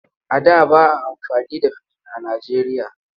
A da ba a amfani da fijin a Nijeriya.